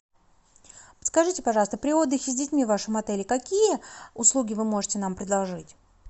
подскажите пожалуйста при отдыхе с детьми в вашем отеле какие услуги вы можете нам предложить